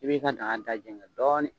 I b'i ka daga da jɛngɛ dɔɔnin